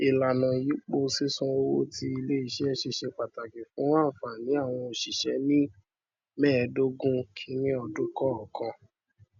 ìlànà ìyípo sísan owó tí iléiṣẹ ṣe ṣe pàtàkì fún ànfààní àwọn oṣiṣẹ ní mẹẹdogun kìíní ọdún kọọkan